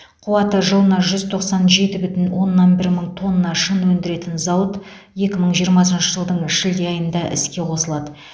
қуаты жылына жүз тоқсан жеті бүтін оннан бір мың тонна шыны өндіретін зауыт екі мың жиырмасыншы жылдың шілде айында іске қосылады